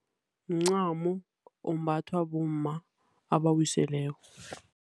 Mncamo ombathwa bomma abawiseleko.